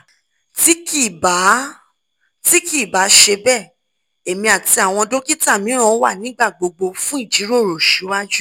ti kii ba ti kii ba ṣe bẹ emi ati awọn dokita miiran wa nígbà gbogbo fun ijiroro siwaju